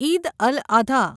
Eid al Adha